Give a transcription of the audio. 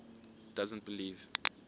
doesn t believe